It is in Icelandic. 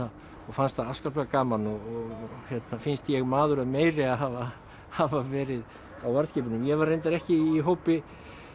fannst það afskaplega gaman og finnst ég maður að meiri að hafa hafa verið á varðskipunum ég var reyndar ekki í hópi